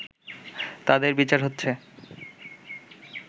তাদের বিচার হচ্ছে